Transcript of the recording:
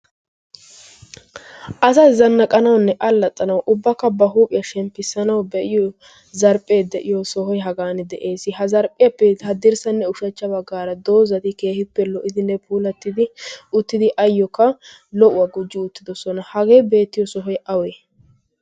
asa zannaqanawunne aallaxxanawu ubbakka ba huuphiyaa shemppissanawu be7iyo zarphphee de7iyo sohoi hagan de7ees. ha zarphphiyaappee haddirssanne ushachcha baggaara doozati keehippe lo77idinne puulattidi uttidi ayyookka lo77uwaa gujji uttidosona. hagee beettiyo sohoi awe?